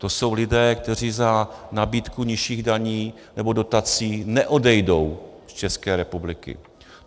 To jsou lidé, kteří za nabídku nižších daní nebo dotací neodejdou z České republiky.